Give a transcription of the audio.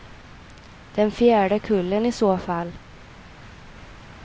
Den fjärde kullen i så fall.